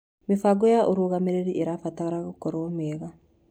Mĩbango ya ũrũgamĩrĩri ĩbataraga gũkorwo mĩega.